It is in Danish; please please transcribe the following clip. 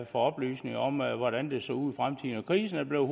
for oplysningerne om hvordan det ville se ud i fremtiden krisen er blevet